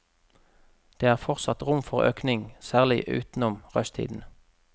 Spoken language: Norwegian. Det er fortsatt rom for økning, særlig utenom rushtiden.